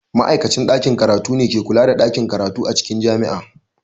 Ma'aikacin ɗakin karatu ne ke kula da ɗakin karatu a cikin jami'a.